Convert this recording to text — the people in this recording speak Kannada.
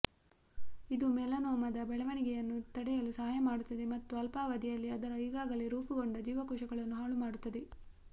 ಇದು ಮೆಲನೋಮದ ಬೆಳವಣಿಗೆಯನ್ನು ತಡೆಯಲು ಸಹಾಯ ಮಾಡುತ್ತದೆ ಮತ್ತು ಅಲ್ಪಾವಧಿಯಲ್ಲಿ ಅದರ ಈಗಾಗಲೇ ರೂಪುಗೊಂಡ ಜೀವಕೋಶಗಳನ್ನು ಹಾಳುಮಾಡುತ್ತದೆ